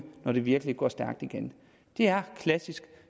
når det virkelig går stærkt igen det er klassisk